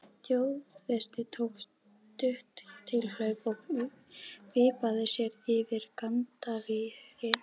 Þjóðverjinn tók stutt tilhlaup og vippaði sér yfir gaddavírinn.